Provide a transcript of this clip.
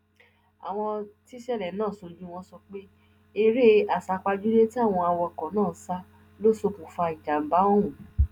àwọn tíṣẹlẹ náà ṣojú wọn sọ pé eré àsápajúdé tí àwọn awakọ náà sá ló ṣokùnfà ìjàmbá ọhún